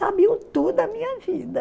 Sabiam tudo da minha vida.